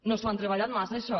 no s’ho han treballat massa això